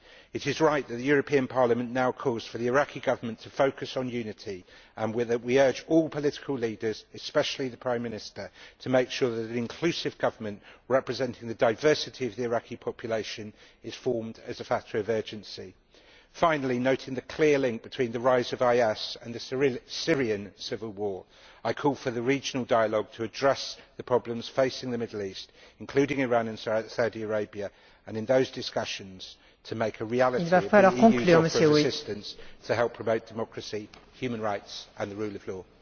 It is right that Parliament now calls for the Iraqi Government to focus on unity and we urge all political leaders, especially the Prime Minister, to make sure that an inclusive government representing the diversity of the Iraqi population is formed as a factor of urgency. Finally, noting the clear link between the rise of IS and the Syrian civil war, I call for the regional dialogue to address the problems facing the Middle East, including Iran and Saudi Arabia, and in those discussions to make a reality the EU's offer of assistance to help promote democracy, human rights and the rule of law.